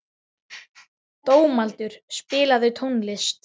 Dómaldur, spilaðu tónlist.